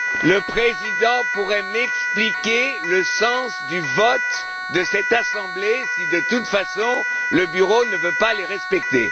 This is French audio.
Le Président pourrait il m'expliquer le sens du vote de cette assemblée si, de toute façon, le Bureau ne veut pas les respecter?